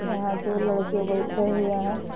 यहाँ दो लड़के बइठे हुए हैं।